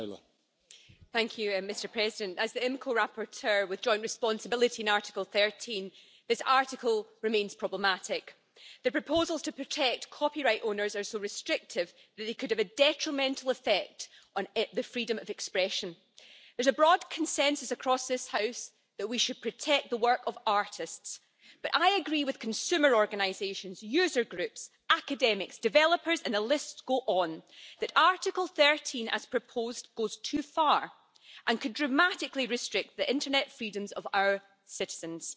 Mr President, as rapporteur for the Committee on the Internal Market and Consumer Protection with joint responsibility on Article 13, I must say that this article remains problematic. The proposals to protect copyright owners are so restrictive that they could have a detrimental effect on the freedom of expression. There's a broad consensus across this House that we should protect the work of artists, but I agree with consumer organisations, user groups, academics, developers and the list goes on that Article 13, as proposed, goes too far and could dramatically restrict the internet freedoms of our citizens.